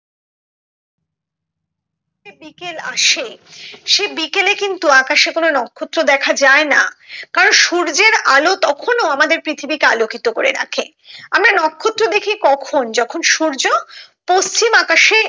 বিকেল আসে সে বিকেলে কিন্তু আকাশে কোনো নক্ষত্র দেখা যায় না কারণ সূর্যের আলো তখনো আমাদের পৃথিবী কে আলোকিত করে রাখে আমরা নক্ষত্র দেখি কখন যখন সূর্য পশ্চিম আকাশে